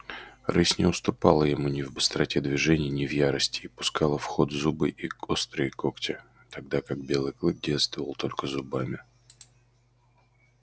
рысь не уступала ему ни в быстроте движений ни в ярости и пускала в ход зубы и острые когти тогда как белый клык действовал только зубами